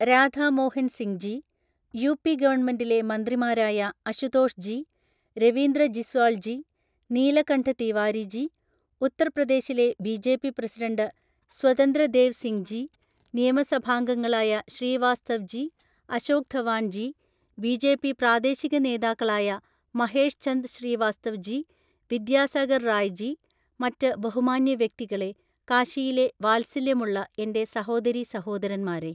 Radha Mohan Singh ji, UP ഗവണ്മെന്റിലെ മന്ത്രിമാരായ അഷുതോഷ് ജി, രവീന്ദ്ര ജിസ്വാള്‍ ജി, നീല്കണ്ഠ് തീവാരിജി, ഉത്തര്‍ പ്രദേശിലെ ബിജെപി പ്രസിഡന്റ് സ്വതന്ത്ര ദേവ് സിംങ് ജി, നിയമസഭാംഗങ്ങളായ ശ്രീവാസ്തവ് ജി, അശോക് ധവാന്‍ ജി, ബിജെപി പ്രാദേശിക നേതാക്കളായ മഹേഷ്ഛന്ദ് ശ്രീ വാസ്തവ് ജി, വിദ്യാസാഗര്‍ റായ് ജി, മറ്റ് ബഹുമാന്യ വ്യക്തികളെ, കാശിയിലെ വാത്സല്യമുള്ള എന്റെ സഹോദരീ സഹോദരന്മാരെ,